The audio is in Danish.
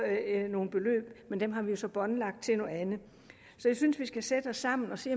nogle beløb men dem har vi så båndlagt til noget andet så jeg synes vi skal sætte os sammen og se